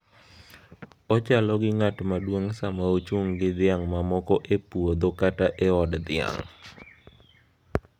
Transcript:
Ochalo gi ng’at maduong’ sama ochung’ gi dhiang’ mamoko e puoth kata e od dhiang’.